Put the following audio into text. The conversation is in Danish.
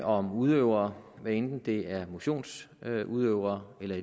om udøvere bruger hvad enten det er motionsudøvere eller